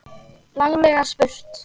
Laglega spurt!